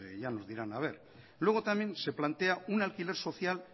ya nos dirán a ver luego también se plantea un alquiler social